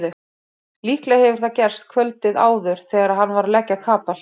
Líklega hefur það gerst kvöldið áður þegar hann var að leggja kapal.